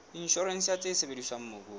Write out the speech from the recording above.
inshorense ya tse sebediswang mobung